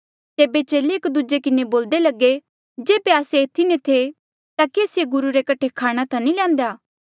तेबे चेले एक दूजे किन्हें बोल्दे लगे जेबे आस्से एथी नी थे ता केसिए गुरु रे कठे खाणा ता नी ल्यान्द्रा